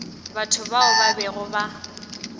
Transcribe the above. batho bao ba bego ba